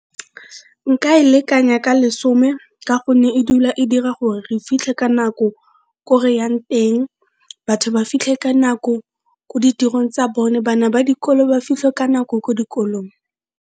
Nka e lekanya ka lesome ka gonne e dula e dira gore re fitlhe ka nako ko reyang teng, batho ba fitlhe ka nako ko ditirong tsa bone, bana ba dikolo ba fitlhe ka nako ko dikolong.